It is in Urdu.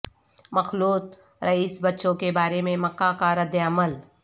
مخلوط ریس بچوں کے بارے میں مکہ کا ردعمل